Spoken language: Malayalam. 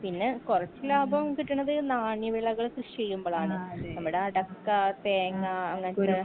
പിന്നെ കൊറച്ച് ലാഭം കിട്ടണത് നാണി വിളകൾ കൃഷിയ്യുമ്പലാണ് നമ്മടെ അടക്ക തേങ്ങാ അങ്ങനത്തെ